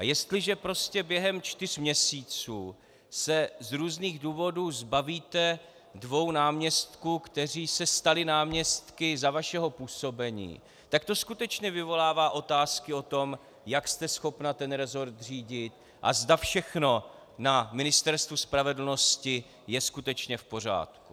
A jestliže prostě během čtyř měsíců se z různých důvodů zbavíte dvou náměstků, kteří se stali náměstky za vašeho působení, tak to skutečně vyvolává otázky o tom, jak jste schopna ten resort řídit, a kdo všechno na Ministerstvu spravedlnosti je skutečně v pořádku.